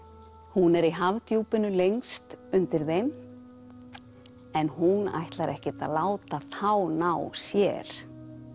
hún er í lengst undir þeim en hún ætlar ekkert að láta þá ná sér